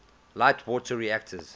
light water reactors